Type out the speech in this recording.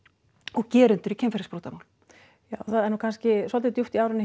og gerendur í kynferðisbrotamálum já það er nú kannski svolítið djúpt í árina